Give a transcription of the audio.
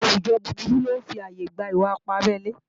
àwùjọ búburú lọ́ ń fàyè gba ìwà-ipá abelé